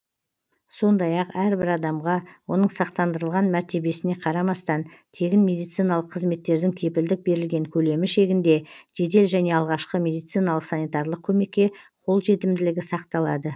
сондай ақ әрбір адамға оның сақтандырылған мәртебесіне қарамастан тегін медициналық қызметтердің кепілдік берілген көлемі шегінде жедел және алғашқы медициналық санитарлық көмекке қолжетімділігі сақталады